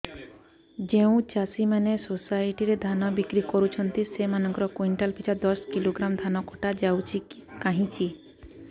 ଯେଉଁ ଚାଷୀ ମାନେ ସୋସାଇଟି ରେ ଧାନ ବିକ୍ରି କରୁଛନ୍ତି ସେମାନଙ୍କର କୁଇଣ୍ଟାଲ ପିଛା ଦଶ କିଲୋଗ୍ରାମ ଧାନ କଟା ଯାଉଛି କାହିଁକି